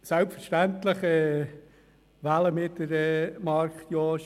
Selbstverständlich wählen wir Marc Jost.